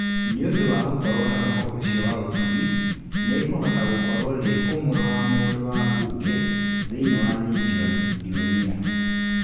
Nĩ ũndũ wa gũkorũo na roho ũcio wa ũtugi, nĩ ngũhota gũkorũo ndĩ ũmwe wa mũndũ wa mbunge thĩinĩ wa Legion d'Honneur".